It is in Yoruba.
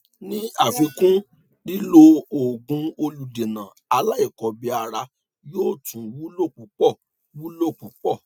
ní àfikún lílo òògùn olùdènà aláìkọbìára yóò tún wúlò púpọ wúlò púpọ